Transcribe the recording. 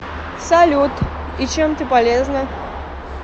салют и чем ты полезна